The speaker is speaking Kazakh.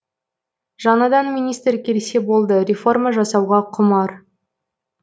жаңадан министр келсе болды реформа жасауға құмар